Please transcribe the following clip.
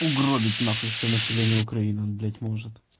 угробить нахуй все население украины блять может